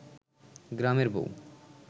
গ্রামের বউ